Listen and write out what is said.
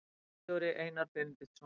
Ritstjóri Einar Benediktsson.